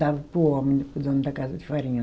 Dava para o homem, para o dono da casa de farinha.